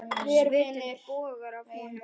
Svitinn bogar af honum.